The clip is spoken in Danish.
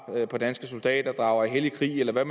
på danske soldater drager i hellig krig eller hvad